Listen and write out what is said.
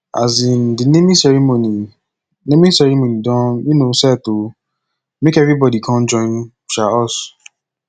um di naming ceremony naming ceremony don um set o make everybodi com join um us